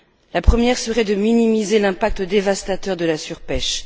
La première serait de minimiser l'impact dévastateur de la surpêche.